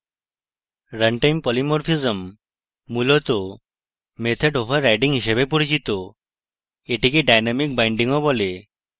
runtime polymorphism মূলত method overriding হিসাবে পরিচিত এটিকে dynamic binding ও বলে